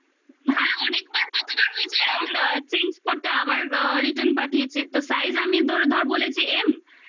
হ্যাঁ অনেকবার কতবার হয়েছে এরম change করতে আবার আ return পাঠিয়েছে তো size আমি ধরে ধরে বলেছি m